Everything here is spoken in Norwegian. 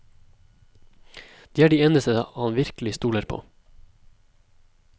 De er de eneste han virkelig stoler på.